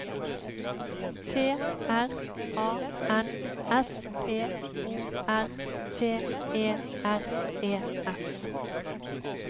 T R A N S P O R T E R E S